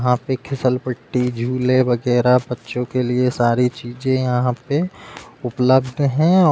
यहाँ पे फिसलपट्टी झूले वगैरह बच्चों के लिए सारी चीजें यहाँ पे उपलब्ध हैं औ --